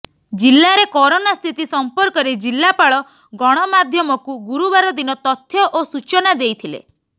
ଜିଲ୍ଲାରେ କରୋନା ସ୍ଥିତି ସଂପର୍କରେ ଜିଲ୍ଲାପାଳ ଗଣମାଧ୍ୟମକୁ ଗୁରୁବାର ଦିନ ତଥ୍ୟ ଓ ସୂଚନା ଦେଇଥିଲେ